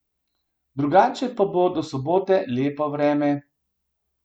Drugače pa bo do sobote vreme lepo.